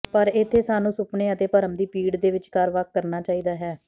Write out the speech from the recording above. ਪਰ ਇੱਥੇ ਸਾਨੂੰ ਸੁਪਨੇ ਅਤੇ ਭਰਮ ਦੀ ਪੀੜ ਦੇ ਵਿਚਕਾਰ ਵੱਖ ਕਰਨਾ ਚਾਹੀਦਾ ਹੈ